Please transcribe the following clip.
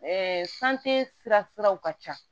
siraw ka ca